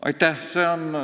Aitäh!